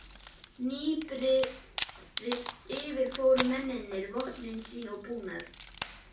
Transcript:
Hnípnir yfirfóru mennirnir vopn sín og búnað.